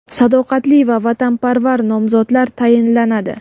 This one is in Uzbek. sadoqatli va vatanparvar nomzodlar tayinlanadi.